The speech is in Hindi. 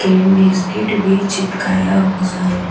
क्रीम बिस्किट भी चिपकाया हुआ है।